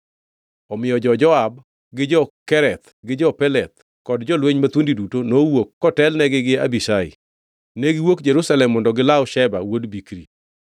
Omiyo jo-Joab gi jo-Kereth gi jo-Peleth kod jolweny mathuondi duto nowuok kotelnegi gi Abishai. Ne giwuok Jerusalem mondo gilaw Sheba wuod Bikri.